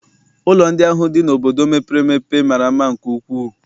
Ụlọ ndị ahụ dị n'obodo mepere emepe mara mma nke ukwuu.